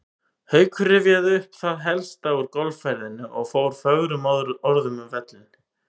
Haukur rifjaði upp það helsta úr golfferðinni og fór fögrum orðum um völlinn.